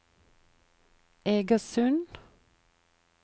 Egersund